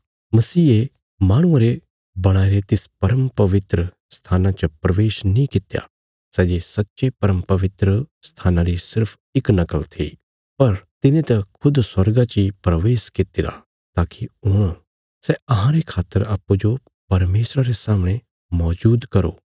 मसीहे माहणुआं रे बणाईरे तिस परमपवित्र स्थाना च प्रवेश नीं कित्या सै जे सच्चे परमपवित्र स्थाना री सिर्फ इक नकल थी पर तिने त खुद स्वर्गा ची प्रवेश कित्तिरा ताकि हुण सै अहांरे खातर अप्पूँजो परमेशरा रे सामणे मौजूद करो